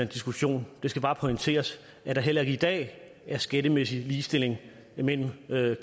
diskussion det skal bare pointeres at der heller ikke i dag er en skattemæssig ligestilling mellem